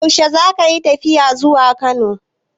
Yaushe zaka yi tafiya zuwa Kano?